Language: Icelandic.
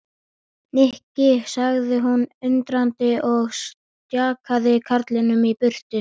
Nikki sagði hún undrandi og stjakaði karlinum í burtu.